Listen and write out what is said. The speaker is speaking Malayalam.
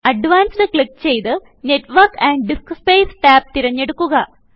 അഡ്വാൻസ്ഡ് ക്ലിക്ക് ചെയ്ത് നെറ്റ്വർക്ക് ആൻഡ് ഡിസ്ക്സ്പേസ് ടാബ് തിരഞ്ഞെടുക്കുക